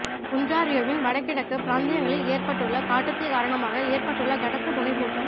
ஒன்ராறியோவின் வடகிழக்கு பிராந்தியங்களில் ஏற்பட்டுள்ள காட்டுத்தீ காரணமாக ஏற்பட்டுள்ள கனத்த புகைமூட்டம